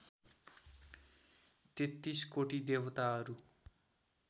तेत्तीसकोटी देवताहरू